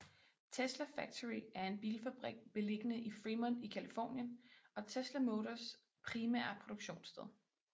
Tesla Factory er en bilfabrik beliggende i Fremont i Californien og Tesla Motors primære produktionssted